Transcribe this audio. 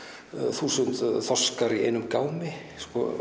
þúsund þorskar í einum gámi